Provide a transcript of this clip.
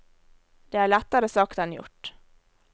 Det er lettere sagt enn gjort.